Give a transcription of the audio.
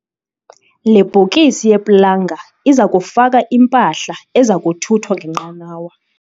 Le bhokisi yeplanga iza kufaka impahla eza kuthuthwa ngenqanawa.